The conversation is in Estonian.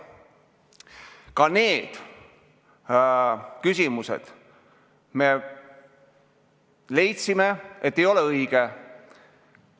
Ka nendes küsimustes me leidsime, et teatud asjad ei ole õiged.